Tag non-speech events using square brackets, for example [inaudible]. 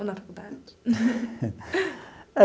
Ou na faculdade? [laughs]